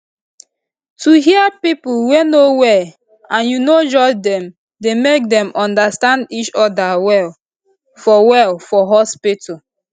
to hear pipo wey no well and u no judge dem dey make dem understand each oda well for well for hospitu